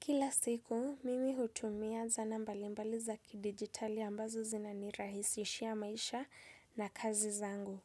Kila siku, mimi hutumia zana mbalimbali za kidigitali ambazo zinanirahisishia maisha na kazi zangu.